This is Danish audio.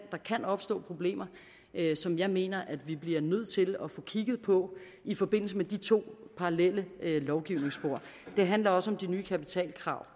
opstå problemer som jeg mener at vi bliver nødt til at få kigget på i forbindelse med de to parallelle lovgivningsspor det handler også om de nye kapitalkrav